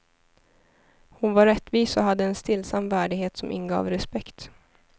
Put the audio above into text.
Hon var rättvis och hade en stillsam värdighet som ingav respekt.